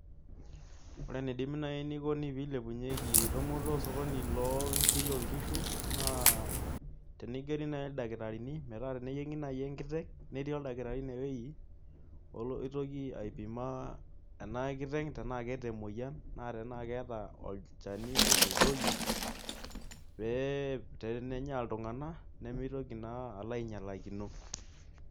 Ore enidimi naai pee ilepunyieki osokoni loonkirri oonkishu naa tenigeri naai ildakitarini metaa teneyieng'i enkiteng' netii ildakitarini inewueji oitoki aipima ena kiteng' tenaa keeta emoyian naa tenaa keeta olchani otuudoki pee tenenya oltung'ani nemitoki naa alo ainyialakino.